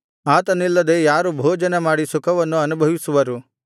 ಆತನಿಲ್ಲದೆ ಯಾರು ಭೋಜನ ಮಾಡಿ ಸುಖವನ್ನು ಅನುಭವಿಸುವರು